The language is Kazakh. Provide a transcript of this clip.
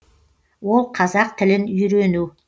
ол қазақ тілін үйрену